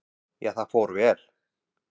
Já, það fór vel.